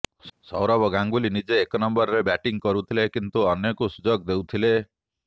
ସୌରଭ ଗାଙ୍ଗୁଲି ନିଜେ ଏକ ନମ୍ବରରେ ବ୍ୟାଟିଂ କରୁଥିଲେ କିନ୍ତୁ ଅନ୍ୟକୁ ସୁଯୋଗ ଦେଉଥିଲେ